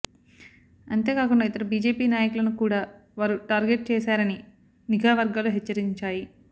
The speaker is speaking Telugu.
అంతే కాకుండా ఇతర బీజేపీ నాయకులను కూడా వారు టార్గెట్ చేశారని నిఘా వర్గాలు హెచ్చరించాయి